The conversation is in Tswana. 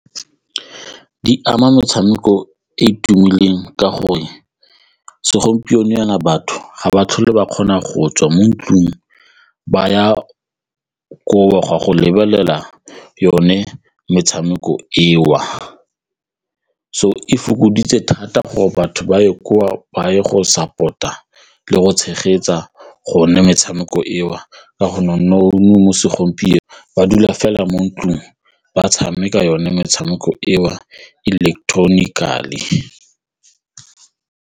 Di ama metshameko e e tumileng ka gore segompieno jaana batho ga ba tlhole ba kgona go tswa mo ntlung ba ya koo go a go lebelela yone metshameko eo, so e fokoditse thata gore batho ba ye gore ba ye go support-a le go tshegetsa gonne metshameko eo ka go nna mo segompieno ba dula fela mo ntlong ba tshameka yone metshameko eo electronically.